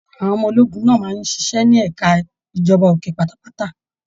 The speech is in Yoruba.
Àwọn ọmọ ológun náà máa n ṣiṣẹ ní ẹka ìjọba òkè pátápátá.